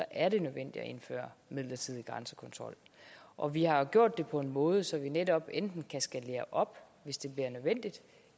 er det nødvendigt at indføre midlertidig grænsekontrol og vi har jo gjort det på en måde så vi netop enten kan skalere op hvis det bliver nødvendigt